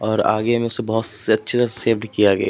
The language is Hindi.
और आगे इनमें से बहोत सेव्ड किया गया --